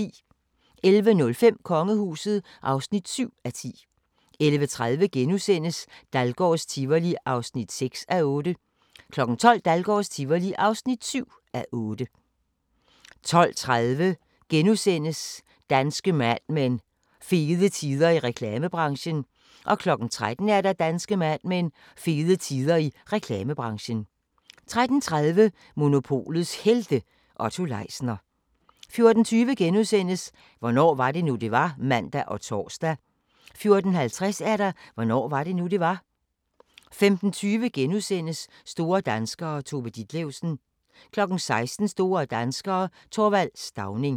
11:05: Kongehuset (7:10) 11:30: Dahlgårds Tivoli (6:8)* 12:00: Dahlgårds Tivoli (7:8) 12:30: Danske Mad Men: Fede tider i reklamebranchen * 13:00: Danske Mad Men: Fede tider i reklamebranchen 13:30: Monopolets Helte – Otto Leisner 14:20: Hvornår var det nu, det var? *(man og tor) 14:50: Hvornår var det nu, det var? 15:20: Store danskere - Tove Ditlevsen * 16:00: Store danskere - Th. Stauning